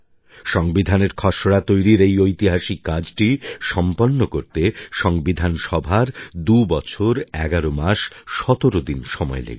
সংবিধানের খসড়া তৈরির এই ঐতিহাসিক কাজটি সম্পন্ন করতে সংবিধান সভার ২ বছর ১১ মাস ১৭ দিন সময় লেগেছিল